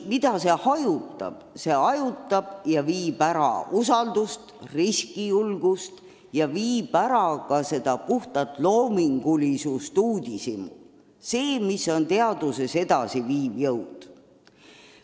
See pärsib usaldust ja riskijulgust ning vähendab loomingulisust ja uudishimu – seda, mis on teaduses edasiviiv jõud.